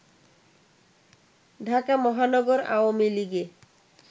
ঢাকা মহানগর আওয়ামী লীগে